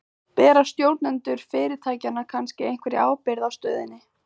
Bera stjórnendur fyrirtækjanna kannski einhverja ábyrgð á stöðunni?